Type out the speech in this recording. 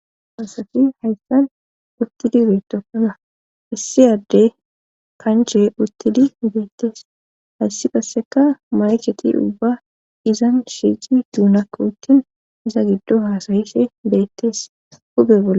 Asati hayssan uttidi beetokona hissiyadde kanche uttidi beettees hayssi qasseka macheti ubba izan shiici duunakko uttin iza giddo haasayise beettees hube bolla